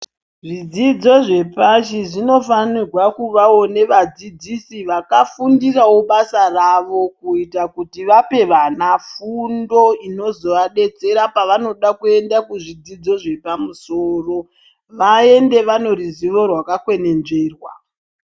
Zvidzidzo zvepashi zvinofanirwa kuvawo nevadzidzsi vakafunda basa ravo kuita kuti vape vana fundo inozovadetsera pavanoda kuenda kuzvidzidzo zvepamusoro vaende vane ruzivo rwakakwenenzverwa.